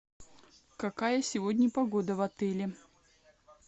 какая сегодня погода в отеле